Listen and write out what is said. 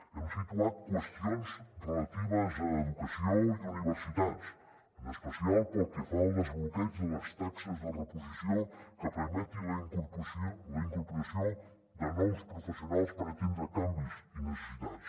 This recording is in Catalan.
hem situat qüestions relatives a educació i universitats en especial pel que fa al desbloqueig de les taxes de reposició que permeti la incorporació de nous professionals per atendre canvis i necessitats